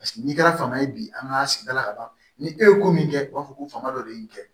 Paseke n'i kɛra fanga ye bi an ka sigida la ka ban ni e ye ko min kɛ u b'a fɔ ko fanga dɔ de ye nin kɛ